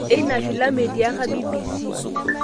Eina filamu etiaka BBC.